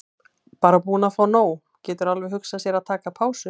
Bara búinn að fá nóg, getur alveg hugsað sér að taka pásu.